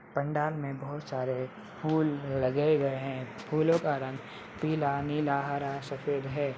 पंडाल में बहोत सारे फूल लगाए गए हैं फूलों का रंग पीला नीला हरा सफेद है।